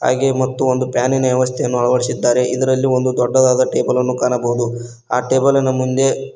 ಹಾಗೆ ಮತ್ತು ಒಂದು ಫ್ಯಾನಿನ ವ್ಯವಸ್ಥೆಯನ್ನು ಅಳವಡಿಸಿದ್ದಾರೆ ಇದರಲ್ಲಿ ಒಂದು ದೊಡ್ಡದಾದ ಟೇಬಲ್ ಅನ್ನು ಕಾಣಬಹುದು ಆ ಟೇಬಲ್ ನ ಮುಂದೆ--